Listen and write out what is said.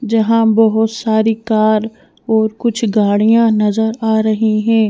जहाँ बहुत सारी कार और कुछ गाड़ियां नजर आ रही हैं।